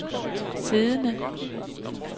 siddende